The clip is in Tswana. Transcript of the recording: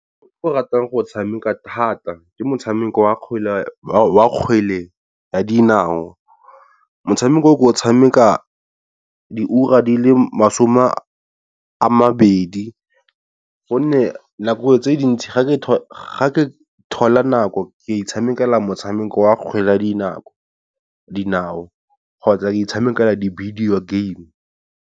O ke ratang go tshameka thata ke motshameko wa kgwele ya dinao, motshameko o ko o tshameka di ura di le masome a mabedi, gonne nako tse dintsi ga ke thola nako ke itshamekela motshameko wa kgwele ya dinao kgotsa itshamekela di-video game.